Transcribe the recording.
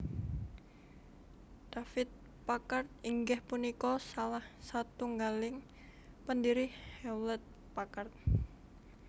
David Packard inggih punika salah satunggaling pendiri Hewlett Packard